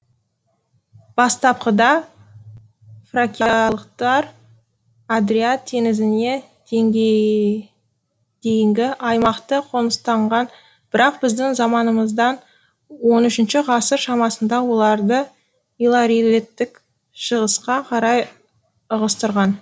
бастапқыда фракиялықтар адриат теңізіне дейінгі аймақты қоныстанған бірақ біздің заманымыздан он үшінші ғасыр шамасында оларды илларийліктер шығысқа қарай ығыстырған